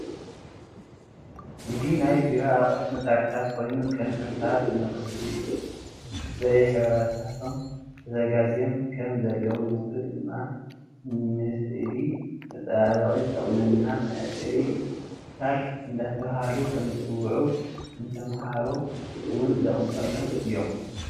እዚ ናይ ቤሮ ኣቁሑት መሳርሕታት ኮይኑ ከም እርሳስ፣ መቅቢእ በየሕብርታቶም ተዘጋጅየም ከም ዘለው ንሱ ድማ ንእስእሊ መፃባብቂ ዝጠቅሙና መቅብእታት እዳተበሃሉ ከም ዝፅውዑ ንተመሃሩ እውን ዝጥቀምሎም እዩም።